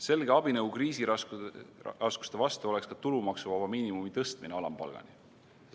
Selge abinõu kriisiraskuste vastu oleks ka tulumaksuvaba miinimumi tõstmine alampalgani.